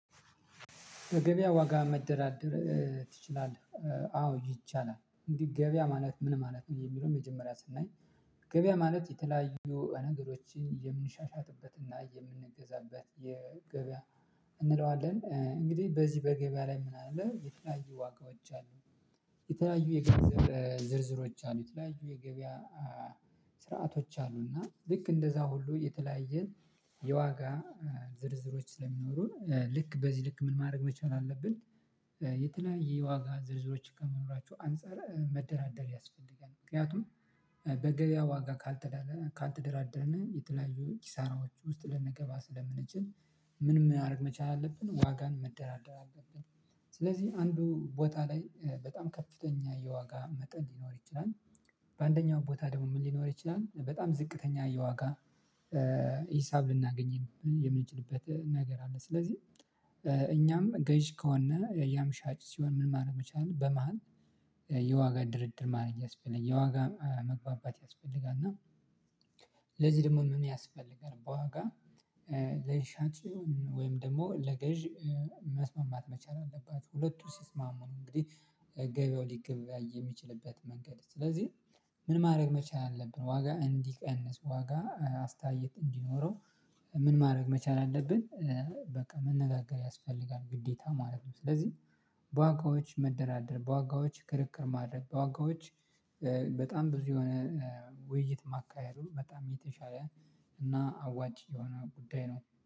በገበያ ዋጋ መደራደር ትችላለህ? አዎ ይቻላል እንዲህ ገበያ ማለት ምን ማለት ነው የሚለውን መጀመሪያ ስናይ ገበያ ማለት የተለያዩ ነገሮችን የምንሻሻትበትና የምንገዛበት የገበያ እንለዋለን እንግዲህ በዚህ በገበያ ላይ ምን አለ የተለያዩ ዋጋዎች አሉ የተለያዩ የገበያ ዝርዝሮች አሉ የተለያዩ የገበያ ስርዓቶች አሉና ልክ እንደዛ ሁሉ የተለያየ የዋጋ ዝርዝሮች ስለሚኖሩ ልክ በዚህ ልክ ምን ማድረግ መቻል አለብን የተለያየ ዋጋ ዝርዝሮችን ከመኖራቸው አንፃር መደራደር ያስፈልጋል ምክንያቱም በገበያ ዋጋ ካልተደራደረነ የተለያዩ ኪሳራዎች ውስጥ ልንገባ ስለምንችል ምን ማድረግ መቻል አለብን ዋጋን መደራደር አለብን ስለዚህ አንዱ ቦታ ላይ በጣም ከፍተኛ የዋጋ መጠን ሊኖር ይችላል በአንደኛው ቦታ ደግሞ ምን ሊኖር ይችላል በጣም ዝቅተኛ የዋጋ ሂሳብ ልናገኝም የምንችልበት ነገር አለ ስለዚህ እኛም ገዥ ከሆነ ያም ሻጭ ሲሆን ምን ማድረግ መቻል አለብኝ በመሃል የዋጋ ድርድር ማድረግ ያስፈልጋል የዋጋ መግባባት ያስፈልጋል እና ለዚህ ደግሞ ምን ያስፈልጋል በዋጋ ለሻጩ ወይም ደግሞ ለገዥ መስማማት መቻል አለባቸው ሁለቱ ሲስማሙ ነው እንግዲህ ገበያው ሊገበያይ የሚችልበት መንገድ ስለዚህ ምን ማድረግ መቻል አለብን ዋጋ እንዲቀንስ ዋጋ አስተያየት እንዲኖረው ምን ማድረግ መቻል አለብን በቃ መነጋገር ያስፈልጋል ግዴታ ማለት ነው ስለዚህ በዋጋዎች መደራደር በዋጋዎች ክርክር ማድረግ በዋጋዎች በጣም ብዙ የሆነ ውይይት ማካሄዱ በጣም የተሻለ እና አዋጭ የሆነ ጉዳይ ነው